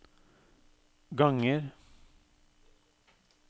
ganger